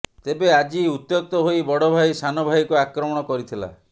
ତେବେ ଆଜି ଉତ୍ୟକ୍ତ ହୋଇ ବଡ ଭାଇ ସାନ ଭାଇକୁ ଆକ୍ରମଣ କରିଥିଲା